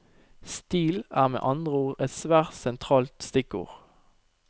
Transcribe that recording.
Stil, er med andre ord et svært sentralt stikkord.